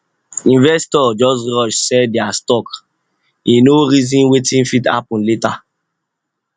investor just rush sell dia stocke no reason wetin fit happen later